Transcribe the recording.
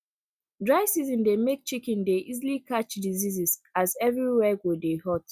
dry season dey make chicken dey easily catch disease as everywhere go dey hot